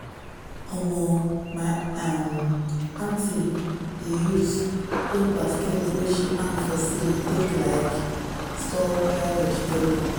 omo my um aunty dey use old basket wey she hang for ceiling take like store dry vegetable.